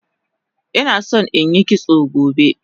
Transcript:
Inason inyi kitso gobe